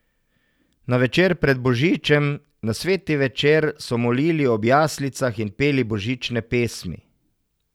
Na večer pred božičnem, na sveti večer, so molili ob jaslicah in peli božične pesmi.